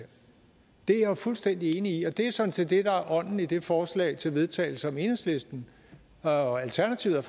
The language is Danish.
det er jeg jo fuldstændig enig i og det er sådan set det der er ånden i det forslag til vedtagelse som enhedslisten og alternativet